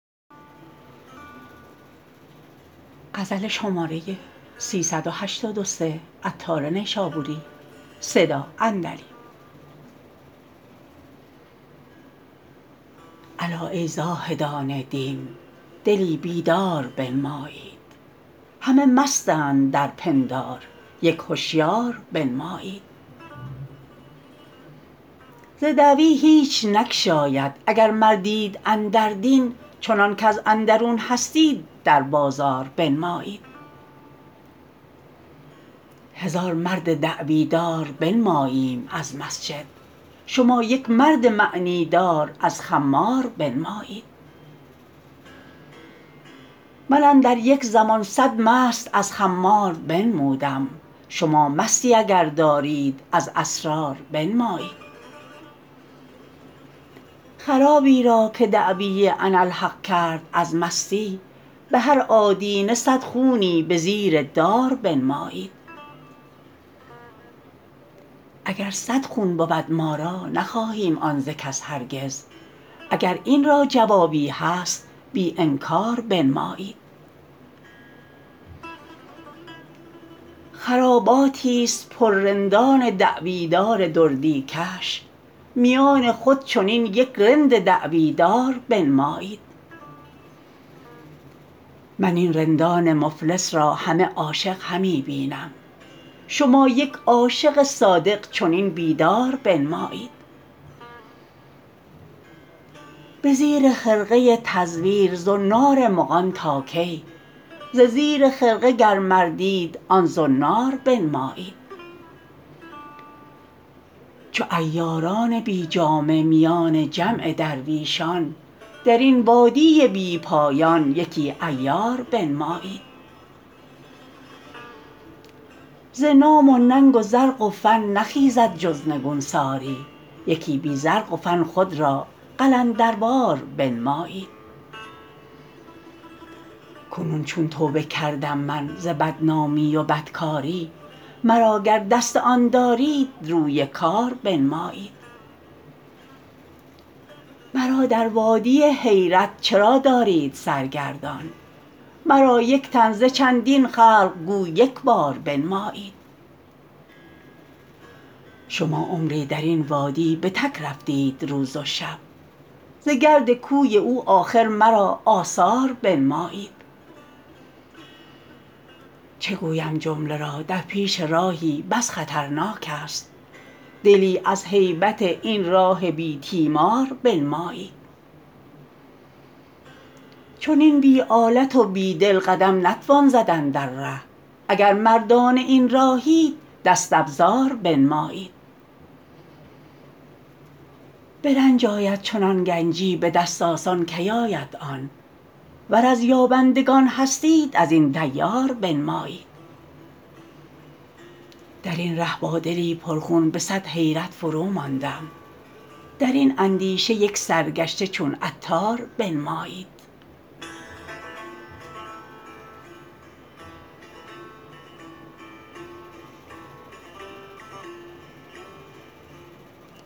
الا ای زاهدان دین دلی بیدار بنمایید همه مستند در پندار یک هشیار بنمایید ز دعوی هیچ نگشاید اگر مردید اندر دین چنان کز اندرون هستید در بازار بنمایید هزاران مرد دعوی دار بنماییم از مسجد شما یک مرد معنی دار از خمار بنمایید من اندر یک زمان صد مست از خمار بنمودم شما مستی اگر دارید از اسرار بنمایید خرابی را که دعوی اناالحق کرد از مستی به هر آدینه صد خونی به زیر دار بنمایید اگر صد خون بود ما را نخواهیم آن ز کس هرگز اگر این را جوابی هست بی انکار بنمایید خراباتی است پر رندان دعوی دار دردی کش میان خود چنین یک رند دعوی دار بنمایید من این رندان مفلس را همه عاشق همی بینم شما یک عاشق صادق چنین بیدار بنمایید به زیر خرقه تزویر زنار مغان تا کی ز زیر خرقه گر مردید آن زنار بنمایید چو عیاران بی جامه میان جمع درویشان درین وادی بی پایان یکی عیار بنمایید ز نام و ننگ و زرق و فن نخیزد جز نگونساری یکی بی زرق و فن خود را قلندروار بنمایید کنون چون توبه کردم من ز بد نامی و بد کاری مرا گر دست آن دارید روی کار بنمایید مرا در وادی حیرت چرا دارید سرگردان مرا یک تن ز چندین خلق گو یکبار بنمایید شما عمری درین وادی به تک رفتید روز و شب ز گرد کوی او آخر مرا آثار بنمایید چه گویم جمله را در پیش راهی بس خطرناک است دلی از هیبت این راه بی تیمار بنمایید چنین بی آلت و بی دل قدم نتوان زدن در ره اگر مردان این راهید دست افزار بنمایید به رنج آید چنان گنجی به دست و خود که یابد آن وگر هستید از یابندگان دیار بنمایید درین ره با دلی پر خون به صد حیرت فروماندم درین اندیشه یک سرگشته چون عطار بنمایید